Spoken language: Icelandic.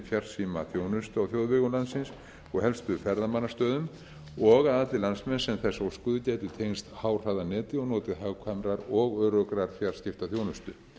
farsímaþjónustu á þjóðvegum landsins og helstu ferðamannastöðum og að allir landsmenn sem þess óskuðu gætu tengst háhraðaneti og notið hagkvæmrar og öruggrar fjarskiptaþjónustu